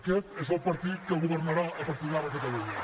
aquest és el partit que governarà a partir d’ara a catalunya